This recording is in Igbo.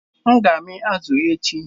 M ga-amị azu echi